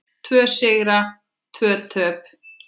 Tvo sigra og tvö töp.